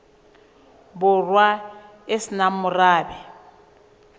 borwa e se nang morabe